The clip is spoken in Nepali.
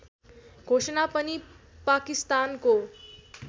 घोषणा पनि पाकिस्तानको